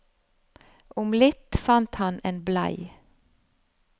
Om litt fant han en blei.